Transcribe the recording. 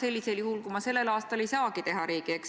Öeldakse, et infot on olnud palju, aga see ei ole alati struktureeritud.